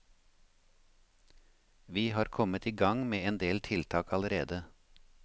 Vi har kommet i gang med en del tiltak allerede.